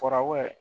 Farabɔ